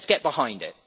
Let's get behind it.